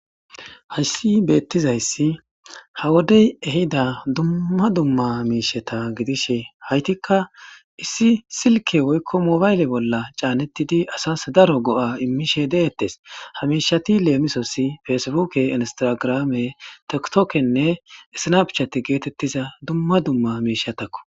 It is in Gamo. Hayssi beettizayssi ha wodey ehida dumma dumma miisheta gidishe haytikka issi silke woykko moobayle bolla caanettidi asas daro go'a immishe deettes ha miishati leemisossi feesbuuke instagraame toktokenne issinaap chate geetettiza dumma dumma miishatakko.